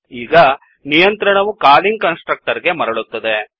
ಈಗ ನಿಯಂತ್ರಣವು calling constructor ಗೆ ಮರಳುತ್ತದೆ